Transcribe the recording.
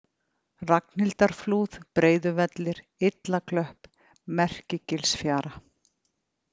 Ragnhildarflúð, Breiðuvellir, Illaklöpp, Merkigilsfjara